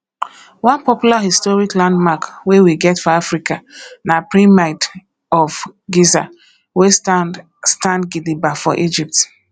one popular historic landmark wey we get for africa na pyramid of giza wey stand stand gidigba for egypt